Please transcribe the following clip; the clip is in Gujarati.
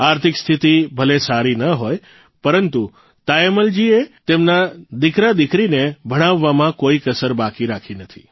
આર્થિક સ્થિતિ ભલે સારી ન હોય પરંતુ તાયમ્મલજીએ તેમના દીકરાદીકરીને ભણાવવામાં કોઇ કસર બાકી રાખી નથી